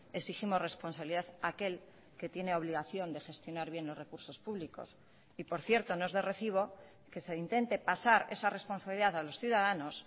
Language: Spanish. exigimos responsabilidad a aquel que tiene obligación de gestionar bien los recursos públicos y por cierto no es de recibo que se intente pasar esa responsabilidad a los ciudadanos